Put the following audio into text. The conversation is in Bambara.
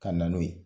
Ka na n'o ye